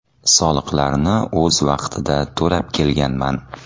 Soliqlarni o‘z vaqtida to‘lab kelganman.